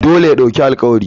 Dole ya ɗauki alƙawari.